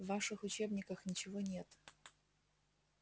в ваших учебниках ничего нет